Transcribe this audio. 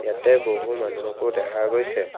ইয়াতে বহু মানুহকো দেখা গৈছে।